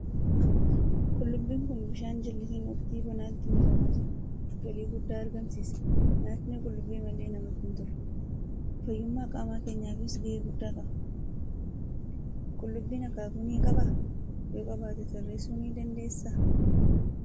Qullubbiin kun bishaan jallisiin waqtii bonaatti misoomaa jira. Galii guddaa argamsiisa. Nyaatni qullubbii malee namatti hin tolu. Fayyummaa qaama keenyaafis gahee guddaa qaba. Qullubbiin akaakuu ni qabaa? Yoo qabaate tarreessuu ni dandeessaa?